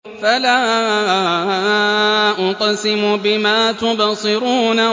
فَلَا أُقْسِمُ بِمَا تُبْصِرُونَ